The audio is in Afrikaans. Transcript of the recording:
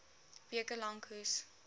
weke lank hoes